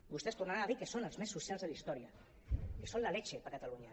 vostès tornaran a dir que són els més socials de la història que són la leche per a catalunya